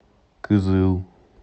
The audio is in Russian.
кызыл